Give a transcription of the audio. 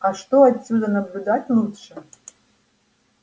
а что отсюда наблюдать лучше